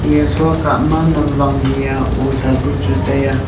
iya shua kah ma namwang he a osa bu chu tai aa.